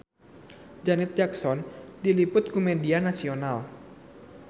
Janet Jackson diliput ku media nasional